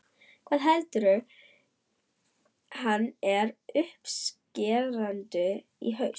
Hvað heldur hann með uppskeruna í haust?